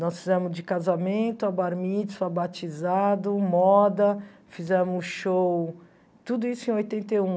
Nós fizemos de casamento, a batizado, moda, fizemos show, tudo isso em oitenta e um.